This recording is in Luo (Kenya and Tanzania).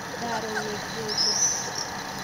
Daro wegi geche